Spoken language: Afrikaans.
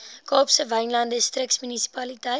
kaapse wynland distriksmunisipaliteit